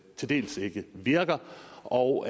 til dels ikke virker og